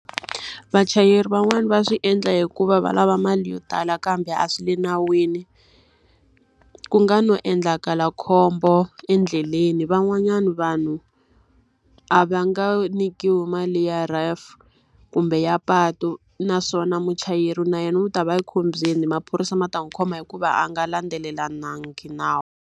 Vachayeri van'wani va swi endla hikuva va lava mali yo tala kambe a swi le nawini. Ku nga no endlaka khombo endleleni, van'wanyana vanhu a va nga nyikiwi mali ya R_A_F kumbe ya patu. Naswona muchayeri na yena wu ta va ekhombyeni, maphorisa ma ta n'wi khoma hikuva a nga landzelelangi nawu.